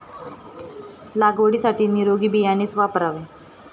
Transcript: लागवडीसाठी निरोगी बियाणेच वापरावे.